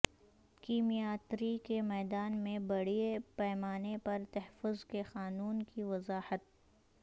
کیمیاتری کے میدان میں بڑے پیمانے پر تحفظ کے قانون کی وضاحت